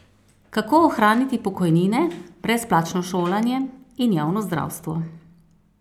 Kako ohraniti pokojnine, brezplačno šolanje in javno zdravstvo?